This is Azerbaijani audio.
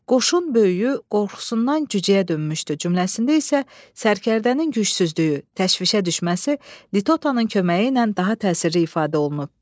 Qoşun böyüyü qorxusundan cücəyə dönmüşdü cümləsində isə sərkərdənin gücsüzlüyü, təşvişə düşməsi litotanın köməyi ilə daha təsirli ifadə olunub.